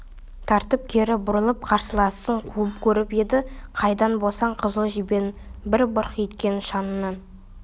тартып кері бұрылып қарсыласын қуып көріп еді қайдан болсын қызыл жебенің бір бұрқ еткен шаңына